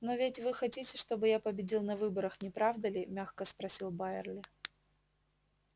но ведь вы хотите чтобы я победил на выборах не правда ли мягко спросил байерли